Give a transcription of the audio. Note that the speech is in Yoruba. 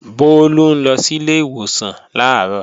Bólú ń lọ sílé ìwòsàn làárọ̀